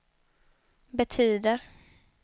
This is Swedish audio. betyder